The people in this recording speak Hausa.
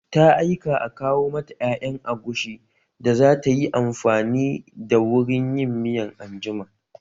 Ta aika a kawo mata ƴaƴan agushi da za tayi amfani da wurin yin miya anjima